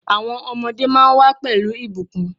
Àwọn ọmọ máa ń wà pẹ̀lú ìbùkún.